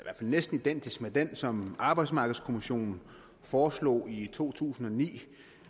er næsten identisk med den som arbejdsmarkedskommissionen foreslog i to tusind og ni